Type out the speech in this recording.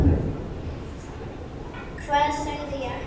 Hvað sagði ég ekki?